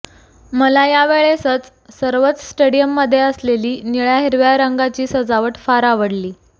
मला या यावेळेस सर्वच स्टेडीयम मधे असलेली निळ्या हिरव्या रंगाची सजावट फार आवडली